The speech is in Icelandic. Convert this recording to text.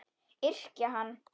Yrkja hann!